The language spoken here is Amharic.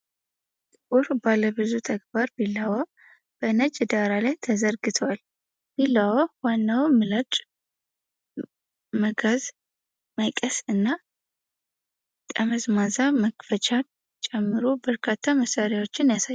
ጥቁር ባለብዙ ተግባር ቢላዋ በነጭ ዳራ ላይ ተዘርግቷል። ቢላዋው ዋናውን ምላጭ፣ መጋዝ፣ መቀስ እና ጠመዝማዛ መክፈቻን ጨምሮ በርካታ መሳሪያዎችን ያሳያል።